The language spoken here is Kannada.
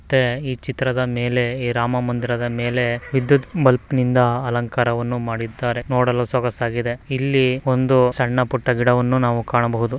ಈ ಚಿತ್ರ ದಲ್ಲಿ ನಾವು ಹೊಸದಾಗಿ ಕಟ್ಟಿರುವ ರಾಮ ಮಂದಿರ ಚಿತ್ರ ವನ್ನು ಕಾಣಬಹುದು ಮತ್ತೆ ರಾಮ ಮಂದಿರದಲ್ಲಿ ವಿದ್ಯುತ್ ದೀಪ ವನ್ನು ನೋಡಬಹುದು ಇಲ್ಲಿ ಸಣ್ಣ ಪುಟ್ಟ ಗಿಡಗಳನ್ನು ನೋಡಬಹುದು.